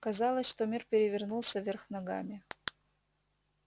казалось что мир перевернулся вверх ногами